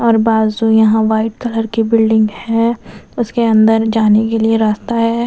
और बाजू यहां व्हाइट कलर की बिल्डिंग है उसके अंदर जाने के लिए रास्ता है।